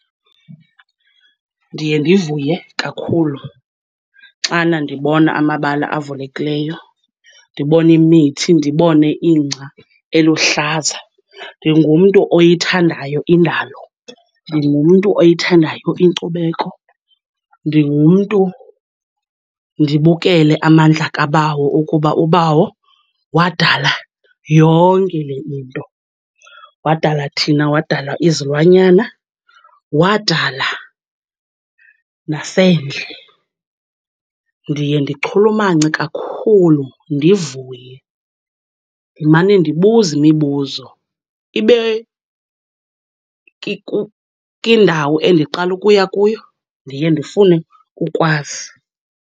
Ndiye ndivuye kakhulu xana ndibona amabala avulekileyo, ndibone imithi, ndibone ingca eluhlaza. Ndingumntu oyithandayo indalo, ndingumntu oyithandayo inkcubeko, ndingumntu, ndibukele amandla kaBawo okuba uBawo wadala yonke le into. Wadala thina, wadala izilwanyana, wadala nasendle. Ndiye ndichulumance kakhulu ndivuye, ndimane ndibuza imibuzo ibe kwindawo endiqala ukuya kuyo, ndiye ndifune ukwazi.